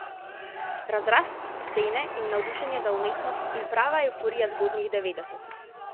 Razrast scene in navdušenje za umetnost in prava evforija zgodnjih devetdesetih.